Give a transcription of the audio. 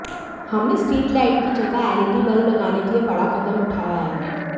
हमने street light की जगह एलईडी बल्ब लगाने के लिए बड़ा कदम उठाया है